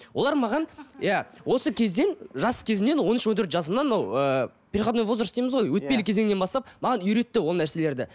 олар маған иә осы кезден жас кезімнен он үш он төрт жасымнан ол ыыы переходной возраст дейміз ғой иә өтпелі кезеңнен бастап маған үйретті ол нәрселерді